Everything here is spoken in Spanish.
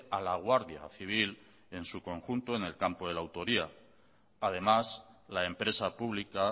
a la guardia civil en su conjunto en el campo de la autoría además la empresa pública